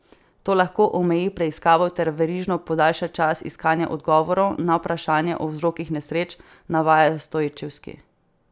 To lahko omeji preiskavo ter verižno podaljša čas iskanja odgovorov na vprašanja o vzrokih nesreč, navaja Stojčevski.